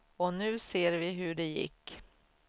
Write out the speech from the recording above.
Och nu ser vi hur det gick.